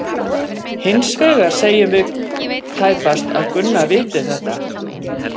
Hins vegar segjum við tæpast að Gunna viti þetta.